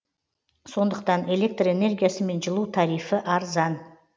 сондықтан электр энергиясы мен жылу тарифі арзан